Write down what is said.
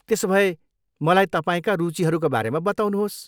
त्यसोभए, मलाई तपाईँका रुचिहरूका बारेमा बताउनुहोस्।